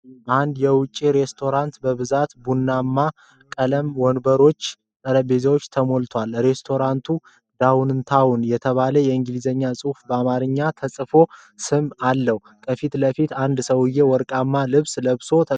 አንድ የውጪ ሬስቶራንት በብዙ የቡናማ ቀለም ወንበሮችና ጠረጴዛዎች ተሞልቷል፡፡ ሬስቶራንቱ "ዳውንታውን" የተባለ የእንግሊዘኛ ጽሑፍና በአማርኛ የተጻፈ ስም አለው፡፡ ከፊት ለፊት አንድ ሰውዬ ወርቃማ ልብስ ለብሶ ተቀምጧል፡፡